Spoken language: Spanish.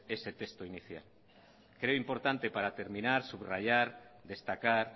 ese texto inicial creo importante para terminar subrayar destacar